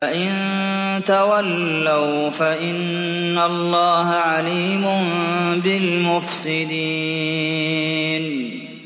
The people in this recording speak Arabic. فَإِن تَوَلَّوْا فَإِنَّ اللَّهَ عَلِيمٌ بِالْمُفْسِدِينَ